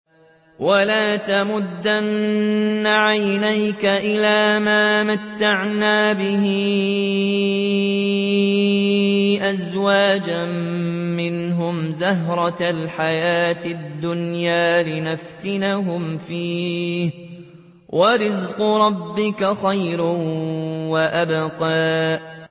وَلَا تَمُدَّنَّ عَيْنَيْكَ إِلَىٰ مَا مَتَّعْنَا بِهِ أَزْوَاجًا مِّنْهُمْ زَهْرَةَ الْحَيَاةِ الدُّنْيَا لِنَفْتِنَهُمْ فِيهِ ۚ وَرِزْقُ رَبِّكَ خَيْرٌ وَأَبْقَىٰ